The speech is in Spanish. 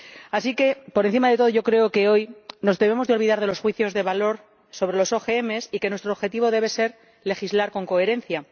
Así que, por encima de todo, yo creo que hoy nos debemos olvidar de los juicios de valor sobre los OMG y que nuestro objetivo debe ser legislar con coherencia.